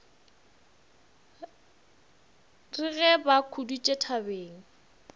re ge ba khuditše thabeng